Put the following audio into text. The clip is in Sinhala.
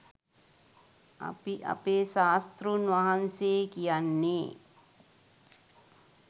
අපි අපේ ශාස්තෘන් වහන්සේ කියන්නේ.